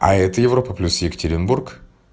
а это европа плюс екатеринбург